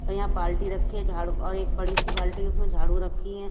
यहां बाल्टी रखी है झाड़ू और एक बड़ी सी बाल्टी उसमें झाड़ू रखी है।